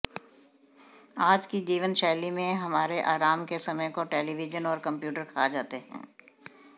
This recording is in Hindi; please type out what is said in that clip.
आज की जीवनशैली में हमारे आराम के समय को टेलीविजन और कम्प्यूटर खा जाते हैं